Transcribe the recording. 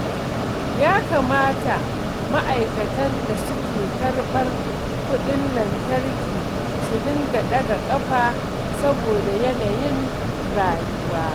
Ya kamata ma'aikatan da suke karɓar kuɗin lantarki su dinga ɗaga ƙafa saboda yanayin rayuwa